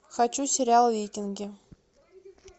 хочу сериал викинги